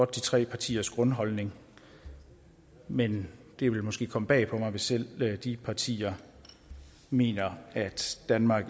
tre partiers grundholdning men det vil måske komme bag på mig hvis selv de partier mener at danmark